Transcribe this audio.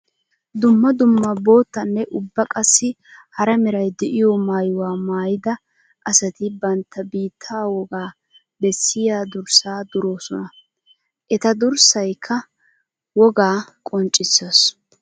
Dumma dumma boottanne ubba qassikka hara meray de'iyo maayuwa maayidda asatti bantta biitta wogaa bessiya durssa duroossonna. Etta durssaykka wogaa qonccisees.